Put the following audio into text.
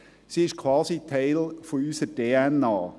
Er ist quasi ein Teil unserer DNA.